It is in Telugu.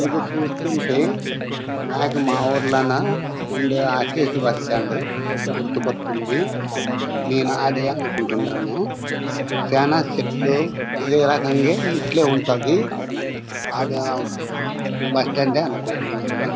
ఇది చూస్తుంటే నాకు మా ఊర్లోనా ఉండే ఆర్టీసీ బస్టాండ్ గుర్తుకోత్తోంది. నేను అదే అనుకుంటున్నాను. చానా చెట్లు ఇదే రకంగే ఇట్లే ఉంటాది. బాగా బస్టాండ్ డే అనుకుంటున్నాను.